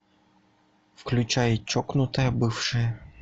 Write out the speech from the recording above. включай чокнутая бывшая